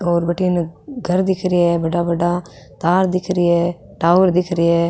और भटीने घर दिख रे है बड़ा बड़ा तार दिख रे है टावर दिख रे है।